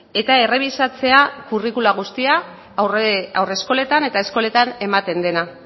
eta errebisatzea curriculum guztiak haurreskoletan eta eskoletan ematen dena